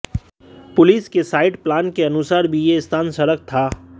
police के site plan के अनुसार भी यह स्थान सड़क था